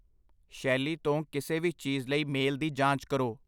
ਸ਼ੈਲੀ ਤੋਂ ਕਿਸੇ ਵੀ ਚੀਜ਼ ਲਈ ਮੇਲ ਦੀ ਜਾਂਚ ਕਰੋ।